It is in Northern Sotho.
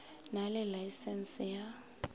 na le laesense ya go